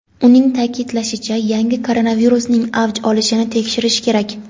Uning ta’kidlashicha, yangi koronavirusning "avj olishini" tekshirish kerak.